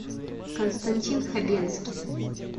константин хабенский